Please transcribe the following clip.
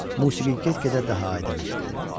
Musiqi get-gedə daha aydın eşidilirdi.